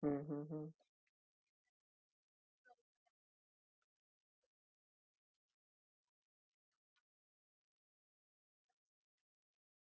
तरी तुम्हाला देताना फक्त पाच हजार रुपय दयावे लागणार आहेत because आम्हाला माहिती आहे कि हा तुमच्याकडुन घेतलेला म्हणजे जास्त पैसे घायचेत